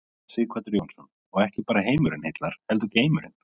Sighvatur Jónsson: Og ekki bara heimurinn heillar heldur geimurinn?